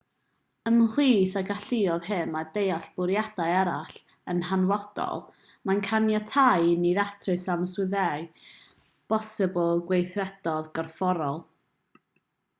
ymhlith y galluoedd hyn mae deall bwriadau eraill yn hanfodol mae'n caniatáu i ni ddatrys amwyseddau posibl gweithredoedd corfforol